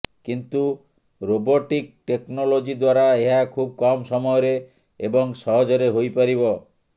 କିନ୍ତୁ robotic technology ଦ୍ୱାରା ଏହା ଖୁବ୍ କମ ସମୟରେ ଏବଂ ସହଜରେ ହୋଇ ପାରିବ